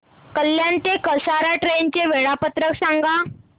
कल्याण ते कसारा ट्रेन चे वेळापत्रक सांगा